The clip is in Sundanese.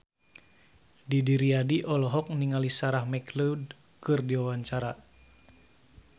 Didi Riyadi olohok ningali Sarah McLeod keur diwawancara